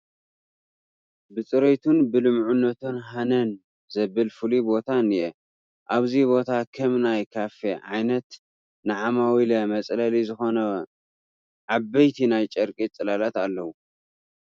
ብፅሬቱን ብልሙዕነቱን ሃነን ዘብል ፍሉይ ቦታ እኔአ፡፡ ኣብዚ ቦታ ከም ናይ ካፌ ዓይነት ንዓማዊለ መፅለሊ ዝኾኑ ዓበይቲ ናይ ጨርቂ ፅላላት እኔዉ፡፡